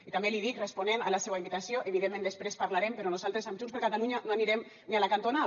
i també li dic responent a la seua invitació evidentment després parlarem però nosaltres amb junts per catalunya no anirem ni a la cantonada